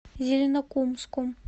зеленокумском